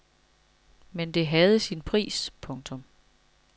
Men det havde sin pris. punktum